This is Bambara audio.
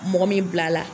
Mɔgɔ min bila la